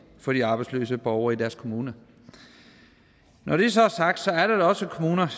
for de arbejdsløse borgere i deres kommune når det så er sagt er der da også kommuner